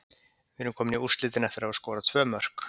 Við erum komnir í úrslitin eftir að hafa skorað tvö mörk.